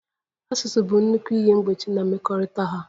Asụsụ bụ nnukwu ihe mgbochi na mmekọrịta ha.